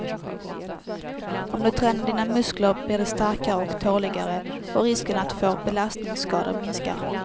Om du tränar dina muskler blir de starkare och tåligare och risken att få belastningsskador minskar.